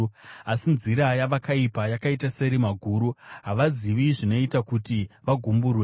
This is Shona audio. Asi nzira yavakaipa yakaita serima guru; havazivi zvinoita kuti vagumburwe.